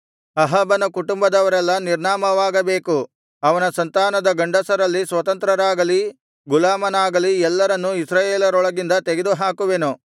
ಅಹಾಬನ ಕುಟುಂಬದವರೆಲ್ಲಾ ನಿರ್ನಾಮವಾಗಬೇಕು ಅವನ ಸಂತಾನದ ಗಂಡಸರಲ್ಲಿ ಸ್ವತಂತ್ರರಾಗಲಿ ಗುಲಾಮನಾಗಲಿ ಎಲ್ಲರನ್ನೂ ಇಸ್ರಾಯೇಲರೊಳಗಿಂದ ತೆಗೆದುಹಾಕುವೆನು